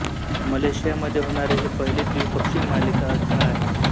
Malaysia मध्ये होणारी ही पहिली द्विपक्षीय मालिका असणार आहे